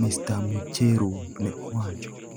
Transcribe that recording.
Mr Mucheru ne owacho.